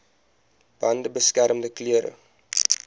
bande beskermende klere